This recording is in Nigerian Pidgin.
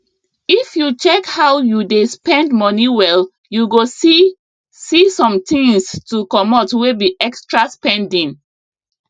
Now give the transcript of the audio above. if you check how you dey spend money well you go see see somethings to comot wey be extra spending